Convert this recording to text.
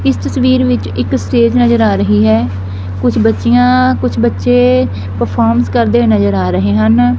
ਇਸ ਤਸਵੀਰ ਵਿੱਚ ਇੱਕ ਸਟੇਜ ਨਜਰ ਆ ਰਹੀ ਹੈ ਕੁਛ ਬੱਚਿਆਂ ਕੁਛ ਬੱਚੇ ਪ੍ਰਫੋਰਮਸ ਕਰਦੇ ਹੋਏ ਨਜਰ ਆ ਰਹੇ ਹਨ।